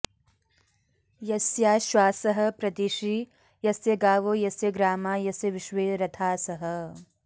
यस्याश्वासः प्रदिशि यस्य गावो यस्य ग्रामा यस्य विश्वे रथासः